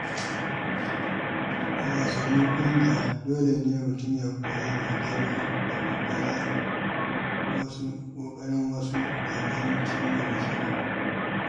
A wasannin ƙungiya, dole ne mutum ya koyi dogaro da ƙoƙarin wasu domin cimma nasara.